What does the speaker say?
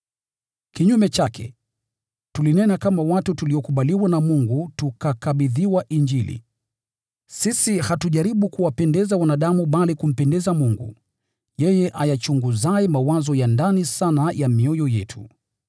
Kinyume chake, tulinena kama watu tuliokubaliwa na Mungu tukakabidhiwa Injili. Sisi hatujaribu kuwapendeza wanadamu bali kumpendeza Mungu, yeye ayachunguzaye mawazo ya ndani sana ya mioyo yetu.